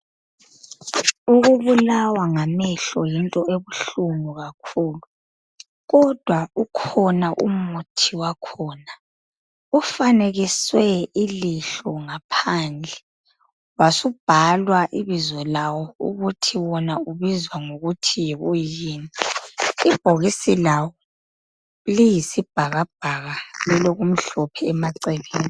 Ukubulawa ngamehlo yinto ebuhlungu kakhulu. Kodwa ukhona umuthi wakhona ufanekiswe ilihlo ngaphandle wasubhalwa ibizo lawo ukuthi wona ubizwa ngokuthi yikuyini. Ibhokisi lawo liyisibhakabhaka lilokumhlophe emaceleni